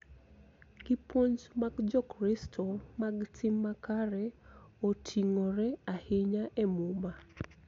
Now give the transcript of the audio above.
Gipuonj mag Jokristo mag tim makare oting�ore ahinya e Muma .